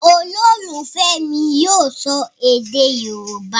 Ololufẹ mi yíò sọ èdè yorúbá.